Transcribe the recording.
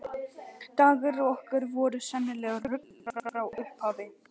Dagar okkar voru sennilegt rugl frá upphafi.